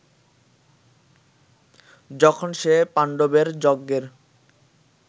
যখন সে পাণ্ডবের যজ্ঞের